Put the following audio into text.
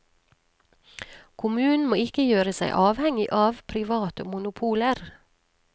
Kommunen må ikke gjøre seg avhengig av private monopoler.